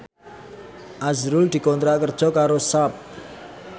azrul dikontrak kerja karo Sharp